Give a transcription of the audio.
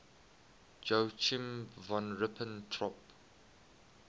joachim von ribbentrop